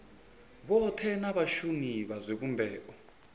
vhothe na vhashumi vha zwivhumbeo